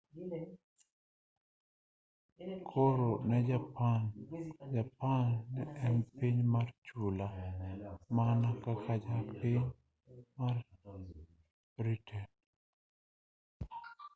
koro ne japan japan ne en piny mar chula mana kaka piny mar britain